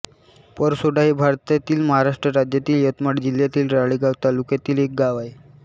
परसोडा हे भारतातील महाराष्ट्र राज्यातील यवतमाळ जिल्ह्यातील राळेगांव तालुक्यातील एक गाव आहे